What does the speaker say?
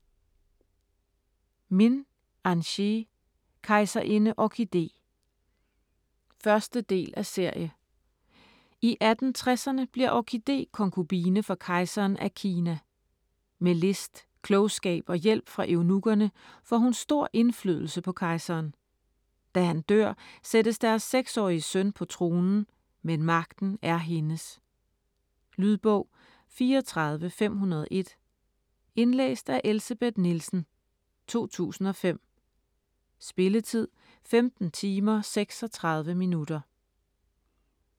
Min, Anchee: Kejserinde Orkide 1. del af serie. I 1860'erne bliver Orkide konkubine for kejseren af Kina. Med list, klogskab og hjælp fra eunukkerne får hun stor indflydelse på kejseren. Da han dør, sættes deres 6-årige søn på tronen, men magten er hendes. Lydbog 34501 Indlæst af Elsebeth Nielsen, 2005. Spilletid: 15 timer, 36 minutter.